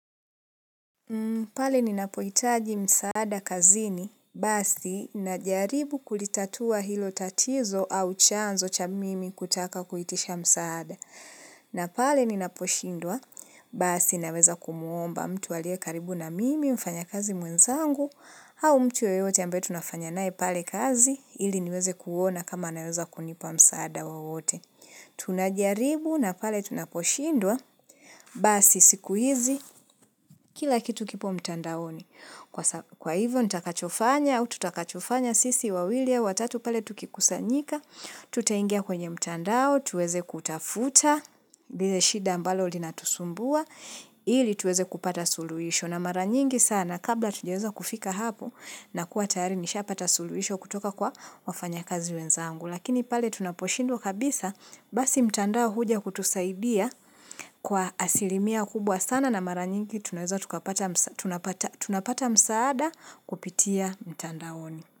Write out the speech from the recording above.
Pale ninapohitaji msaada kazini, basi na jaribu kulitatua hilo tatizo au chanzo cha mimi kutaka kuitisha msaada. Na pale ninaposhindwa, basi naweza kumwomba mtu aliye karibu na mimi mfanya kazi mwenzangu au mtu yeyote ambaye tunafanya naye pale kazi ili niweze kuona kama naweza kunipa msaada wowote. Tunajaribu na pale tunaposhindwa Basi siku hizi kila kitu kipo mtandaoni Kwa hivyo nitakachofanya Utakachofanya sisi wawili watatu pale tukikusanyika Tutingia kwenye mtandao Tueze kutafuta lile shida mbalo linatusumbua ili tuweze kupata suluisho na maranyingi sana Kabla hatujeweza kufika hapo nakuwa tayari nisha pata suluhisho kutoka kwa wafanya kazi wenzangu Lakini pale tunaposhindwa kabisa Basi mtandao huja kutusaidia kwa asilimia kubwa sana na maranyingi tunapata msaada kupitia mtandaoni.